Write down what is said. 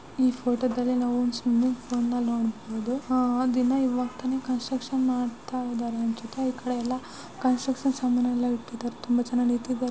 ಈ ಫೋಟೋದಲ್ಲಿ ನಾವೊಂದು ಸ್ವಿಮ್ಮಿಂಗ್ ಪೂಲ್ನ ನೋಡಬಹುದು. ಅದಿನ್ನ ಇವಾಗ್ ತಾನೇ ಕನ್ಸ್ಟ್ರಕ್ಷನ್ ಮಾಡ್ತಾ ಇದ್ದಾರೆ. ಈ ಕಡೆಯಲ್ಲ ಕನ್ಸ್ಟ್ರಕ್ಷನ್ ಸಾಮಾನ್ನೆಲ್ಲ ಇಟ್ಟಿದ್ದಾರೆ ತುಂಬಾ ಚೆನ್ನಾಗಿ--